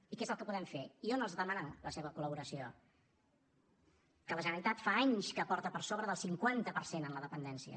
i què és el que podem fer jo no els demano la seva col·laboració que la generalitat fa anys que aporta per sobre del cinquanta per cent en la dependència